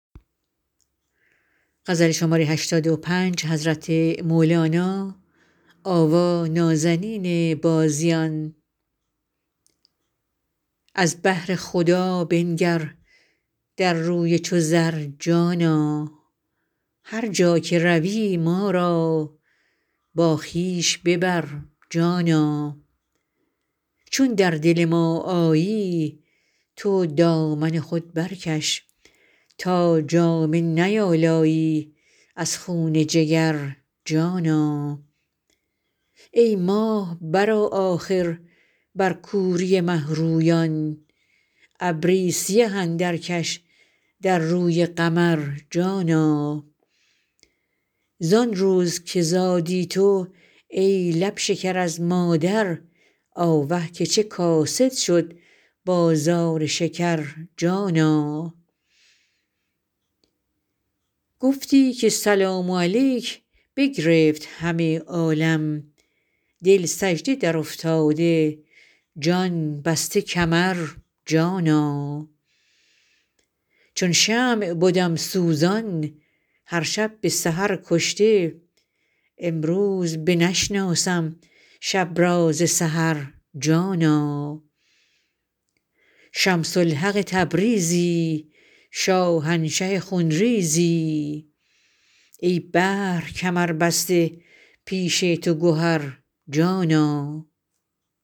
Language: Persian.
از بهر خدا بنگر در روی چو زر جانا هر جا که روی ما را با خویش ببر جانا چون در دل ما آیی تو دامن خود برکش تا جامه نیالایی از خون جگر جانا ای ماه برآ آخر بر کوری مه رویان ابری سیه اندرکش در روی قمر جانا زان روز که زادی تو ای لب شکر از مادر آوه که چه کاسد شد بازار شکر جانا گفتی که سلام علیک بگرفت همه عالم دل سجده درافتاده جان بسته کمر جانا چون شمع بدم سوزان هر شب به سحر کشته امروز بنشناسم شب را ز سحر جانا شمس الحق تبریزی شاهنشه خون ریزی ای بحر کمربسته پیش تو گهر جانا